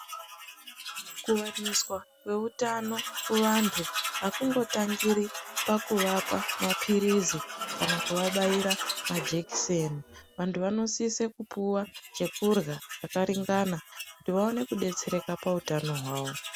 Kuwaniswa kweutano kuvantu ,akungotangiri pakuvapa maphirizi, kana kuvabaira majekiseni. Vantu vanosise kupuwa chekurya chakaringana, kuti vaone kudetsereka pautano hwavo.